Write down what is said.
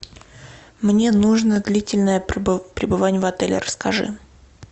мне нужно длительное пребывание в отеле расскажи